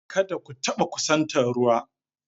Kada ku taɓa kusantar ruwa.